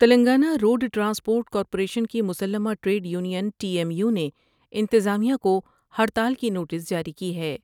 Telangana road transport corporation کی مسلمہ trade union T M U نے انتظامیہ کو ہڑتال کی نوٹس جاری کی ہے ۔